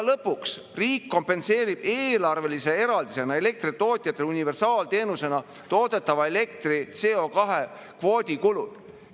Lõpuks, riik kompenseerib eelarvelise eraldisena elektritootjatele universaalteenusena toodetava elektri CO2- kvoodi kulud.